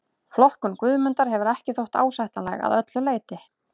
Flokkun Guðmundar hefur ekki þótt ásættanleg að öllu leyti.